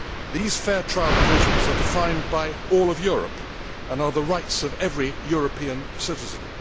These fair trial provisions are defined by all of Europe and are the rights of every European citizen.